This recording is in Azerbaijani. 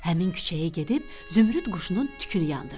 Həmin küçəyə gedib Zümrüd quşunun tükünü yandırdı.